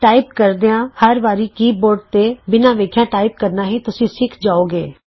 type ਕਰਦਿਆਂ ਹਰ ਵਾਰੀ ਕੀ ਬੋਰਡ ਤੇ ਬਿਨਾਂ ਵੇਖਿਆਂ ਟਾਈਪ ਕਰਨਾ ਵੀ ਤੁਸੀਂ ਸਿਖ ਜਾਉਗੇ